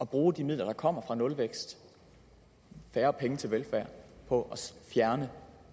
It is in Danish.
bruge de midler der kommer fra nulvækst færre penge til velfærd på at fjerne